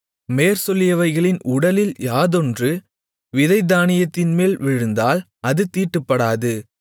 மேற்சொல்லியவைகளின் உடலில் யாதொன்று விதைத்தானியத்தின்மேல் விழுந்தால் அது தீட்டுப்படாது